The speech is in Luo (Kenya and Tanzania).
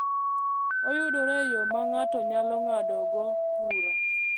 Oyudore e yo ma ng’ato nyalo ng’adogo bura.